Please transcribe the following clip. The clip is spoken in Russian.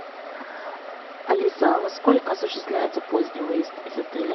алиса во сколько осуществляется поздний выезд из отеля